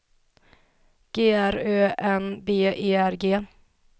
G R Ö N B E R G